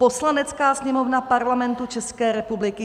"Poslanecká sněmovna Parlamentu České republiky